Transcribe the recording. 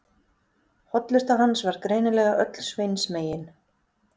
Hollusta hans var greinilega öll Sveins megin.